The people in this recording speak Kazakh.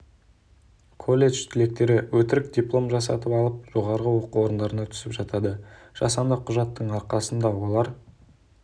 колледж түлектері өтірік диплом жасатып алып жоғарғы оқу орындарына түсіп жатады жасанды құжаттың арқасында олар